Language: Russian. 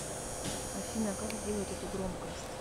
афина как сделать эту громкость